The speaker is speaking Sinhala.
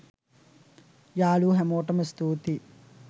යාලුවෝ හැමෝටම ස්තුතියි